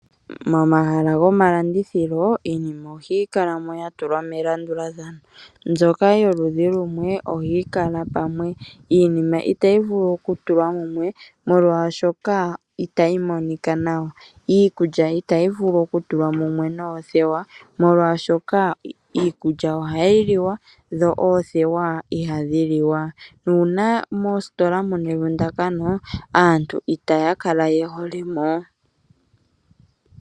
Mo mahala gomalandithilo iinima ohayi kala mo ya tulwa melandulathano. Mbyoka yoludhi lumwe ohayi kala pamwe , iinima itayi vulu okutulwa mumwe molwashoka itayi monika nawa. Iikulya itayi vulu okutulwa mumwe noothewa, molwashoka iikulya ohayi liwa dho oothewa ihadhi liwa. Nuuna mositola muna evundakano aantu itaya kala ye hole mo.